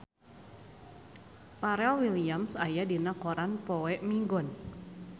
Pharrell Williams aya dina koran poe Minggon